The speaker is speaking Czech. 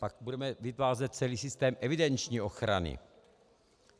Pak budeme vytvářet celý systém evidenční ochrany.